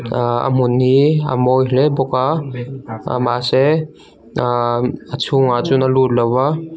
aaa a hmun hi a mawi hle bawk a aa mahse aaa a chhungah chuan a lut lo a--